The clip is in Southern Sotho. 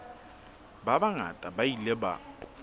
ba bangata ba ile ba